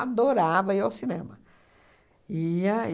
Adorava ir ao cinema. Ia